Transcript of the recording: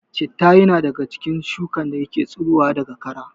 Citta ya na daga cikin shuka dake tsiro daga kara